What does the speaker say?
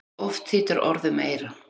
Oft þýtur orð um eyra.